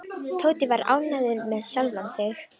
Tóti var ánægður með sjálfan sig.